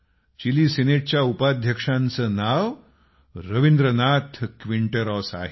chilli सिनेटच्या उपाध्यक्षांचं नाव रवींद्रनाथ क्विन्टेरॉस आहे